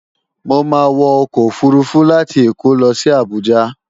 Mo máa wọ ọkọ̀ òfurufú láti Èkó lo sí Àbújá